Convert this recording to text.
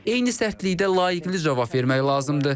Eyni sərtlikdə layıqli cavab vermək lazımdır.